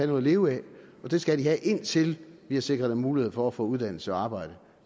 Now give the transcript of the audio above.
noget at leve af og det skal de have indtil vi har sikret dem mulighed for at få uddannelse eller arbejde